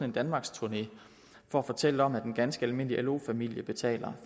en danmarksturné for at fortælle om at en ganske almindelig lo familie betaler